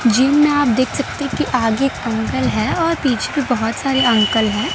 जिनमें आप देख सकते हो कि आगे एक अंकल हैं और पीछे भी बहोत सारे अंकल हैं।